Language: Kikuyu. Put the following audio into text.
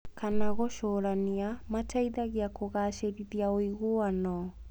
kana gũcũrania. Mateithagia kũgacĩrithia ũiguano